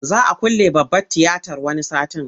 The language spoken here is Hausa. Za a külle babbar tiyatar wani satin.